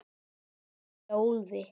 Gott hjá Úlfi!